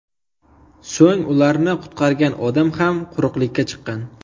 So‘ng ularni qutqargan odam ham quruqlikka chiqqan.